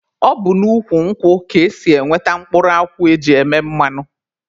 Ọ bụ n'ukwu nkwụ ka esi enweta mkpụrụ akwụ e ji eme mmanụ.